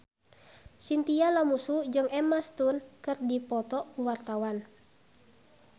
Chintya Lamusu jeung Emma Stone keur dipoto ku wartawan